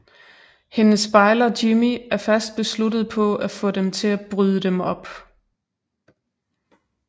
Hendes bejler Jimmie er fast besluttet på at få dem til at bryde dem op